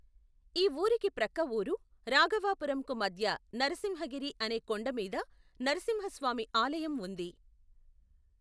ఈ ఊరికి ప్రక్క ఊరు రాఘవాపురంకు మధ్య నరసింహగిరి అనే కొండమీద నరసింహ స్వామి ఆలయం ఉంది.